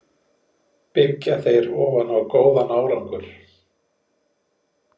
Byggja þeir ofan á góðan árangur?